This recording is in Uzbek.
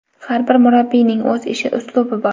Har bir murabbiyning o‘z ish uslubi bor.